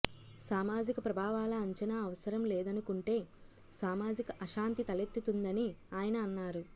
సామాజిక ప్రభావాల అంచనా అవసరం లేదనుకుంటే సామాజిక అశాంతి తలెత్తుతుందని ఆయన అన్నారు